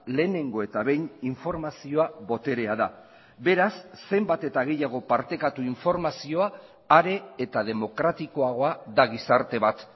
lehenengo eta behin informazioa boterea da beraz zenbat eta gehiago partekatu informazioa are eta demokratikoagoa da gizarte bat